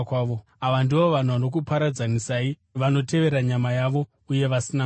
Ava ndivo vanhu vanokuparadzanisai, vanotevera nyama yavo uye vasina Mweya.